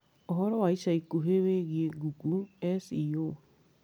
Ũhoro wa ica ikuhĩ wĩgiĩ Google s. e. o.